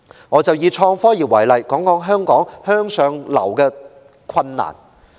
我以創科業為例，談談在香港向上流動的困難。